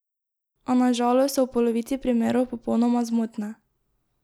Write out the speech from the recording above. A na žalost so v polovici primerov popolnoma zmotne.